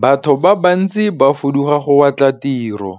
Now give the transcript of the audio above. Batho ba bantsi ba fuduga go batla tiro,